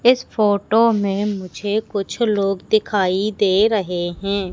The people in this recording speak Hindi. इस फोटो में मुझे कुछ लोग दिखाई दे रहे हैं।